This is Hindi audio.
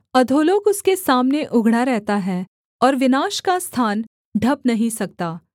अधोलोक उसके सामने उघड़ा रहता है और विनाश का स्थान ढँप नहीं सकता